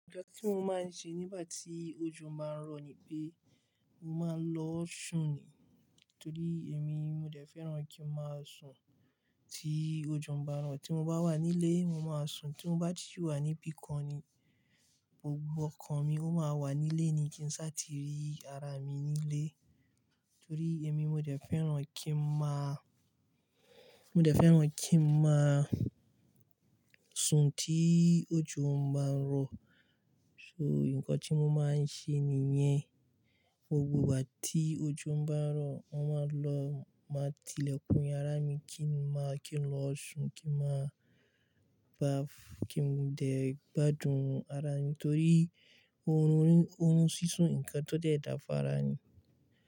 Nkán tí mo máa ń ṣe nígbà tí ojo máa ń rọ̀ ni pé mo máa ń lọ sùn ni. Nítorí èmi mo dẹ fẹ́ràn kí n máa sùn tí ojo ń bá n rọ̀. Tí mo bá wà nílé, mo máa sùn. Tí mo bá ti wà níbìkan ni gbogbo ọkàn mi ó máa wà nílé ni kí n sá ti rí ara mi nílé. Nítorí èmi mo jẹ́ fẹ́ràn kí n máa, mo jẹ́ fẹ́ràn kí n máa sùn tí ojú ń bá ń rọ̀. So, ǹkan tí mo máa ń ṣe nìyẹn. Gbogbo ìgbà tí ojo ń bá ń rọ̀, mo máa lọ, máa tilẹ̀kùn yara mi, kí n máa, kí n lọ sùn, kí n máa bá, kí n dẹ gbádùn ara mi. Nítorí orun sisùn nnkan to dẹ dá fún ará ni.